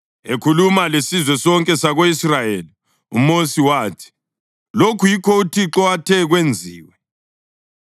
Ekhuluma lesizwe sonke sako-Israyeli uMosi wathi, “Lokhu yikho uThixo athe kwenziwe: